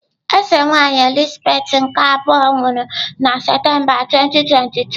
Eze nwaanyị Elizabeth nke abụọ nwụrụ na Septemba 2022.